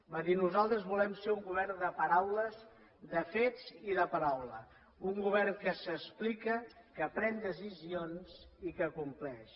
va dir nosaltres volem ser un govern de paraules de fets i de paraula un govern que s’explica que pren decisions i que compleix